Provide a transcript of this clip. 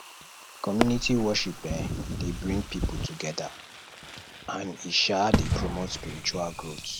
community worship um dey bring pipo together and e um dey promote spiritual growth